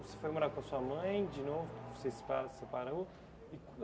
Você foi morar com a sua mãe de novo, você se pa separou.